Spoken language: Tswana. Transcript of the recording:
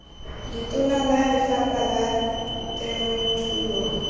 letona la lefapha la temothuo